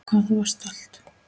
Hvað þú varst stolt.